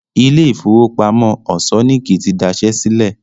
Ilé ìfowópamọ́ Òṣọ́níkí ti daṣẹ́ sílẹ̀